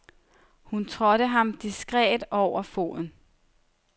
Hun trådte ham diskret over foden.